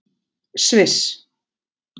Sviss